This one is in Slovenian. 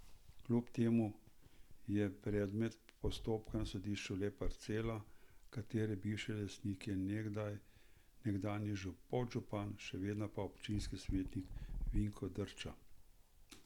Kljub temu je predmet postopka na sodišču le parcela, katere bivši lastnik je nekdanji podžupan, še vedno pa občinski svetnik Vinko Drča.